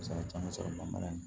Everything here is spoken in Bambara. Misali caman sɔrɔ man ɲi